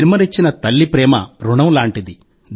జన్మనిచ్చిన తల్లి ప్రేమ రుణం లాంటిది